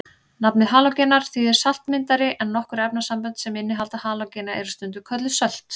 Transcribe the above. Nafnið halógenar þýðir saltmyndari en nokkur efnasambönd sem innihalda halógena eru stundum kölluð sölt.